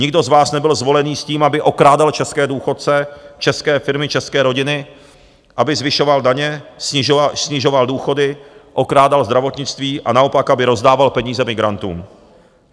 Nikdo z vás nebyl zvolený s tím, aby okrádal české důchodce, české firmy, české rodiny, aby zvyšoval daně, snižoval důchody, okrádal zdravotnictví a naopak, aby rozdával peníze migrantům.